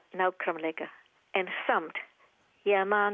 nákvæmlega en samt ég man